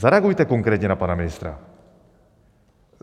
Zareagujte konkrétně na pana ministra!